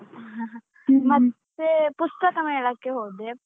ಮತ್ತೆ ಪುಸ್ತಕ ಮೇಳಕ್ಕೆ ಹೋದೆ.